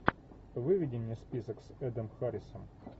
выведи мне список с эдом харрисом